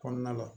Kɔnɔna la